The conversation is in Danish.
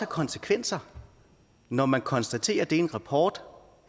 konsekvenser når man konstaterer det i en rapport